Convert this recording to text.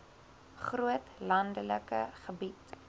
groot landelike gebied